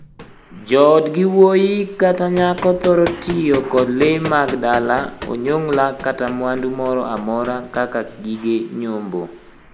Joodgi wuoyi kata nyako thoro tiyo kod lee mag dala, onyongla, kata mwandu moro amora kaka gige nyombo.